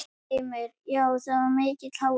Heimir: Já var mikill hávaði?